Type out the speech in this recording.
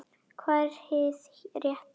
Hvað er hið rétta?